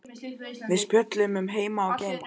Við spjölluðum um heima og geima.